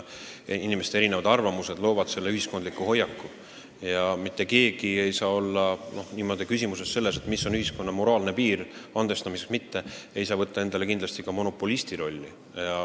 Inimeste erinevad arvamused loovad valitseva ühiskondliku hoiaku ja kui on küsimus, kus jookseb ühiskonna moraalne piir andestada või mitte, siis keegi ei saa võtta endale selle üle otsustamisel monopolisti rolli.